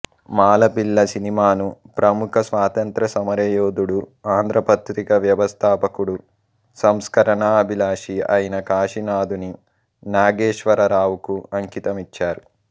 మాలపిల్ల సినిమాను ప్రముఖ స్వాతంత్ర్య సమరయోధుడు ఆంధ్రపత్రిక వ్యవస్థాపకుడు సంస్కరణాభిలాషి అయిన కాశీనాథుని నాగేశ్వరరావుకు అంకితం ఇచ్చారు